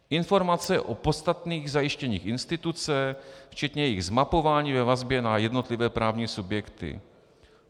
Informace o podstatných zajištěních instituce včetně jejich zmapování ve vazbě na jednotlivé právní subjekty.